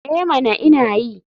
Eh mana ina yi.